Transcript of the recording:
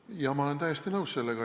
Jah, ma olen sellega täiesti nõus.